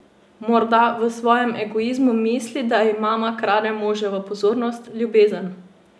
Morda v svojem egoizmu misli, da ji mama krade moževo pozornost, ljubezen.